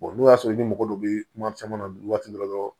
n'o y'a sɔrɔ i ma mɔgɔ dɔ bɛ kuma caman na waati dɔ la dɔrɔn